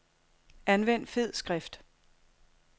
Anvend fed skrift.